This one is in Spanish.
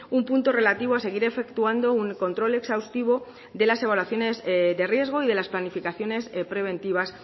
un punto relativo a seguir efectuando un control exhaustivo de las evaluaciones de riesgo y de las planificaciones preventivas